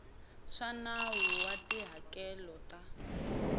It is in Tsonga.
swa nawu wa tihakelo ta